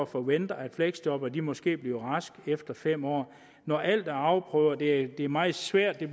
forventer at fleksjobbere måske bliver raske efter fem år når alt er afprøvet det bliver meget sværere at